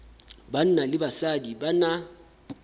banna le basadi ba na